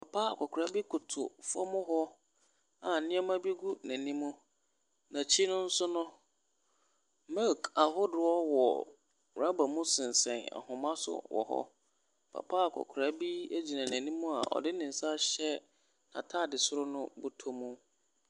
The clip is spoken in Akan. Papa akɔkora bi koto fam hɔ a nneɛma bi gu n’anim, n’akyi no nso no, milk ahodoɔ wɔ rɔba mu sensɛn ahoma so wɔ hɔ. papa akɔkora bi gyina n’anim a ɔde ne nsa ahyɛ n’ataade soro no bɔtɔ mu.